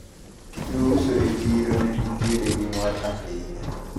Jouso e chiro ne nitiere gi mor ahinya.